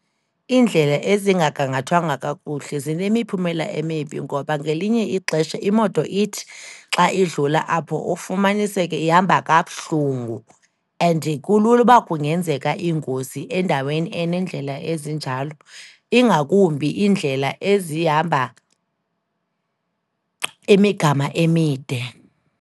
Iindlela ezingagangathwanga kakuhle zinemiphumela emibi ngoba ngelinye ixesha, imoto ithi xa idlula apho ufumaniseke ihamba kabuhlungu. And kulula ukuba kungenzeka iingozi endaweni eneendlela ezinjalo, ingakumbi iindlela ezihamba imigama emide.